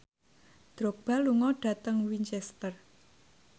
Drogba lunga dhateng Winchester